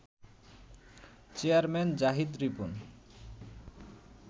chairman Zahid Ripon